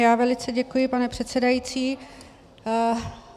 Já velice děkuji, pane přesedající.